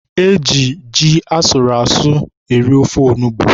E ji ji asụrụ asụ eri ofe onugbu.